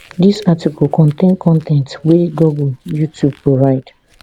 dis article contain con ten t wey google youtube provide